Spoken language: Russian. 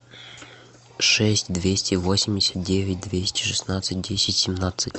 шесть двести восемьдесят девять двести шестнадцать десять семнадцать